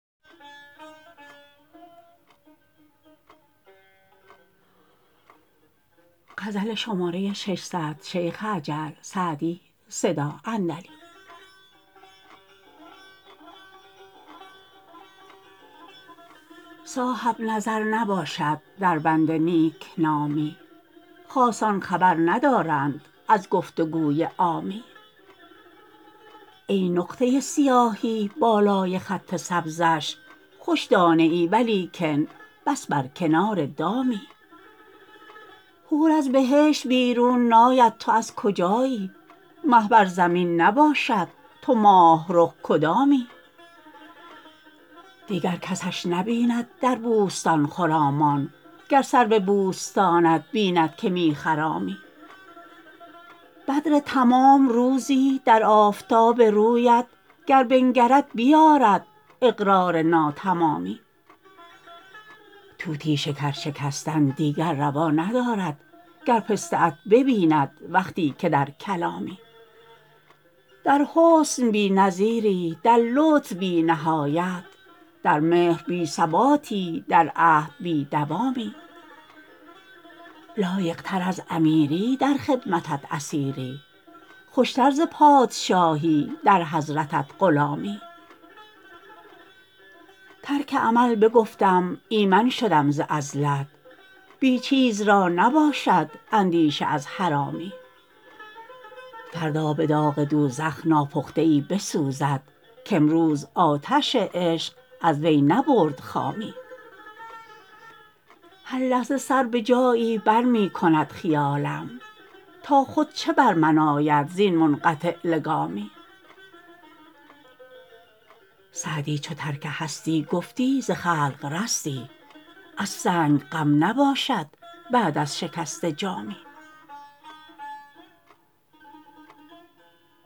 صاحب نظر نباشد در بند نیک نامی خاصان خبر ندارند از گفت و گوی عامی ای نقطه سیاهی بالای خط سبزش خوش دانه ای ولیکن بس بر کنار دامی حور از بهشت بیرون ناید تو از کجایی مه بر زمین نباشد تو ماه رخ کدامی دیگر کسش نبیند در بوستان خرامان گر سرو بوستانت بیند که می خرامی بدر تمام روزی در آفتاب رویت گر بنگرد بیآرد اقرار ناتمامی طوطی شکر شکستن دیگر روا ندارد گر پسته ات ببیند وقتی که در کلامی در حسن بی نظیری در لطف بی نهایت در مهر بی ثباتی در عهد بی دوامی لایق تر از امیری در خدمتت اسیری خوش تر ز پادشاهی در حضرتت غلامی ترک عمل بگفتم ایمن شدم ز عزلت بی چیز را نباشد اندیشه از حرامی فردا به داغ دوزخ ناپخته ای بسوزد کامروز آتش عشق از وی نبرد خامی هر لحظه سر به جایی بر می کند خیالم تا خود چه بر من آید زین منقطع لگامی سعدی چو ترک هستی گفتی ز خلق رستی از سنگ غم نباشد بعد از شکسته جامی